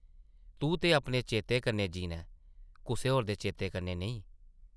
तूं ते अपने चेतें कन्नै जीना ऐ, कुसै होर दे चेतें कन्नै नेईं ।